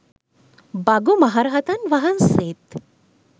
භගු මහරහතන් වහන්සේත්